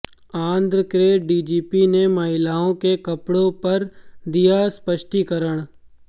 आंध्र के डीजीपी ने महिलाओं के कपड़ों पर दिया स्पष्टीकरण